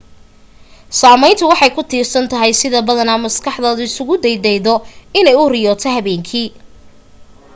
saameyntu waxay ku tiirsan tahay sida badanaa maskaxdaadu isagu daydaydo inay u riyooto habeenkii